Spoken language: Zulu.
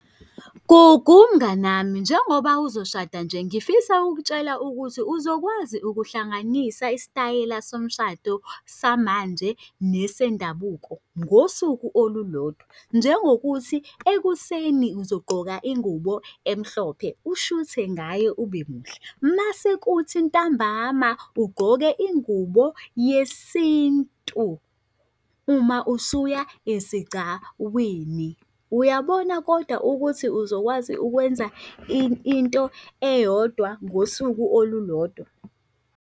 Gugu mnganami, njengoba uzoshada nje, ngifisa ukutshela ukuthi uzokwazi ukuhlanganisa isitayela somshado samanje nesendabuko ngosuku olulodwa. Njengokuthi ekuseni uzogqoka ingubo emhlophe, ushuthe ngayo ube muhle, mase kuthi ntambama ugqoke ingubo yesintu uma usuya esigcawini. Uyabona kodwa ukuthi uzokwazi ukwenza into eyodwa ngosuku olulodwa?